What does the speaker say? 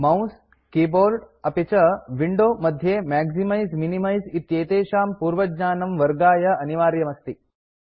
mouse keyboard अपि च window मध्ये मैक्सिमाइज़ मिनिमाइज़ इत्येतेषां पूर्वज्ञानं वर्गाय अनिवार्यम् अस्ति